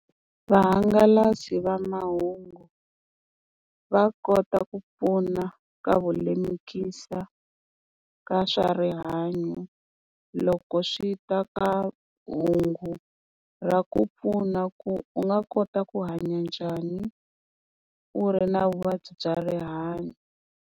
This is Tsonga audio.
Vahangalasi va mahungu va kota ku pfuna ka vulemukisa ka swa rihanyo, loko swi ta ka hungu ra ku pfuna ku u nga kota ku hanya njhani u ri na vuvabyi bya rihanyo.